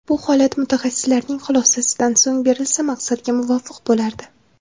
Bu holat mutaxassislarning xulosasidan so‘ng berilsa maqsadga muvofiq bo‘lardi.